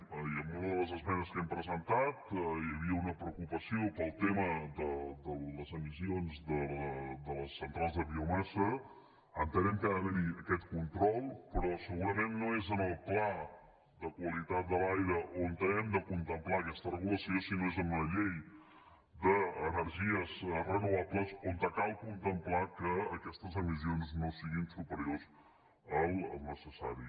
i en una de les esmenes que hem presentat hi havia una preocupació pel tema de les emissions de les centrals de biomassa entenem que ha d’haver hi aquest control però segurament no és en el pla de qualitat de l’aire on hem de contemplar aquesta regulació sinó que és en una llei d’energies renovables on cal contemplar que aquestes emissions no siguin superiors al necessari